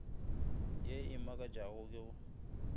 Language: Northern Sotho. ye e makatšago ke go